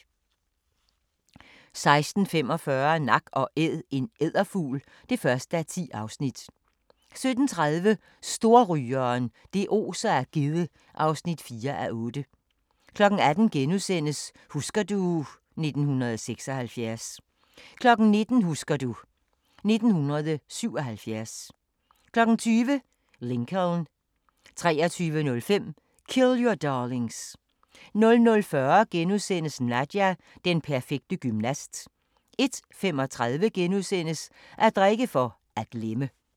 16:45: Nak & Æd – en edderfugl (1:10) 17:30: Storrygeren – det oser af gedde (4:8) 18:00: Husker du ... 1976 * 19:00: Husker du ... 1977 20:00: Lincoln 23:05: Kill Your Darlings 00:40: Nadia – den perfekte gymnast * 01:35: At drikke for at glemme *